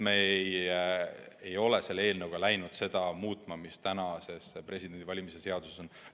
Me ei ole selle eelnõuga läinud muutma seda, mis praegu kehtivas Vabariigi Presidendi valimise seaduses kirjas on.